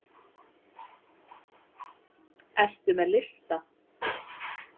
Ertu með lista?